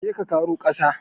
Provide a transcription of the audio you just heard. Je ka ƙaro ƙasa!